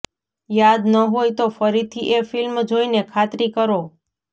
યાદ ન હોય તો ફરીથી એ ફિલ્મ જોઈને ખાતરી કરો